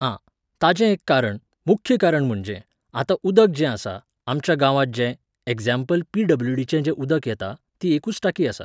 आं, ताचें एक कारण, मुख्य कारण म्हणजे, आतां उदक जें आसा, आमच्या गांवांत जें, एक्झाम्पल पिडब्ल्युडीचें जें उदक येता, ती एकूच टांकी आसा.